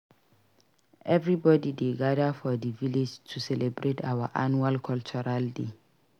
Everybody dey gada for di village to celebrate our annual cultural day.